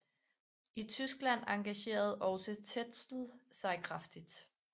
I Tyskland engagerede også Tetzel sig kraftigt